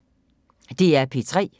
DR P3